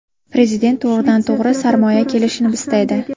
Prezident to‘g‘ridan-to‘g‘ri sarmoya kelishini istaydi.